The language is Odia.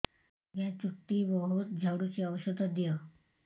ଆଜ୍ଞା ଚୁଟି ବହୁତ୍ ଝଡୁଚି ଔଷଧ ଦିଅ